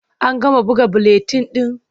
An gama buga buletin ɗin?